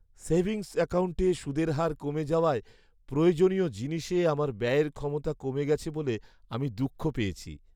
Savings অ্যাকাউন্টে সুদের হার কমে যাওয়ায় প্রয়োজনীয় জিনিসে আমার ব্যয়ের ক্ষমতা কমে গেছে বলে আমি দুঃখ পেয়েছি।